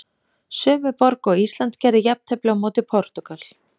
Sömu borg og Ísland gerði jafntefli á móti Portúgal.